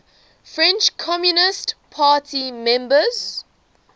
french communist party members